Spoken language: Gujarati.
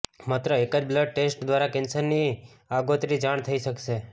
માત્ર એક જ બ્લડ ટેસ્ટ દ્વારા કેન્સરની આગોતરી જાણ થઇ શકશે